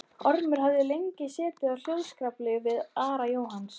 Ormur hafði lengi setið á hljóðskrafi við Ara Jónsson.